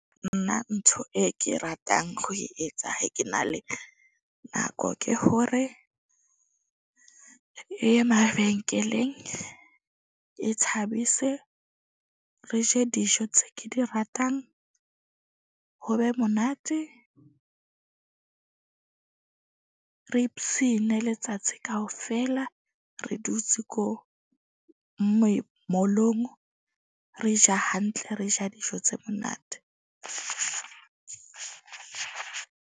Nna ntho e ke ratang ho e etsa ha ke na le nako ke hore, e ye mabenkeleng e thabise, re je dijo tse ke di ratang, ho be monate. Re letsatsi kaofela. Re dutse ko mall-ong re ja hantle, re ja dijo tse monate.